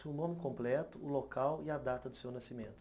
Seu nome completo, o local e a data do seu nascimento.